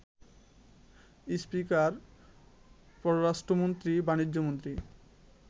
speaker, পররাষ্ট্রমন্ত্রী, বাণিজ্যমন্ত্রী,